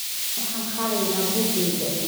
Waxaan qaadanayaa buuggayga.